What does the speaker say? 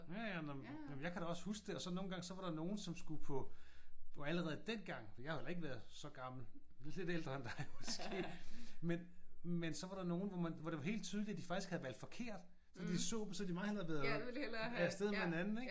Ja ja nå men jeg kan da også huske det. Og så nogle gange så var der nogen som skulle på allerede dengang for jeg havde jo heller ikke været så gammel lidt ældre end dig måske. Men men så var der nogen hvor man hvor det var helt tydeligt at de faktisk havde valgt forkert. Så de så dem så ville de meget hellere havde været af sted med den anden ik?